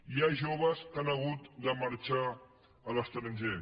hi ha joves que han hagut de marxar a l’estranger